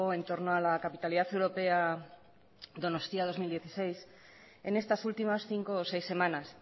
en torno a la capitalidad europea donostia dos mil dieciséis en estas últimas cinco o seis semanas